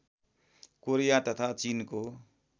Korea तथा चिनको